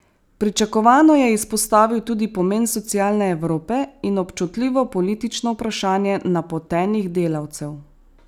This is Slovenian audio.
Pričakovano je izpostavil tudi pomen socialne Evrope in občutljivo politično vprašanje napotenih delavcev.